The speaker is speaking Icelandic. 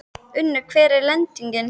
Unnur, hver er lendingin?